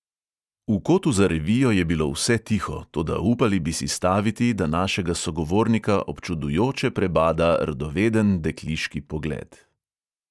V kotu za revijo je bilo vse tiho, toda upali bi si staviti, da našega sogovornika občudujoče prebada radoveden dekliški pogled.